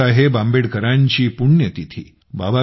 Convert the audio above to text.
बाबासाहेब आंबेडकरांची पुण्यतिथि